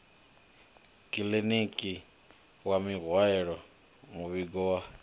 kiḽiniki wa mihaelo muvhigo wa